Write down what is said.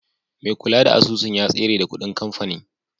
Mai kula da asusun ya tsere da kuɗin kamfani.